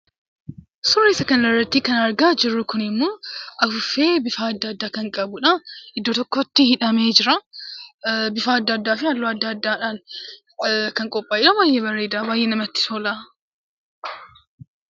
Suuraa kanarratti kan argaa jirrummoo afuuffee bifa adda addaa kan qabuudha. Iddoo tokkotti hidhamee jira. Bifa adda addaa fi halluu adda addaadhaan kan qophaaye baay'ee kan bareeduudha baay'ee namatti tola.